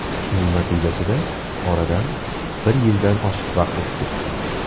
Shuning natijasida oradan bir yildan oshiq vaqt o‘tib ketdi.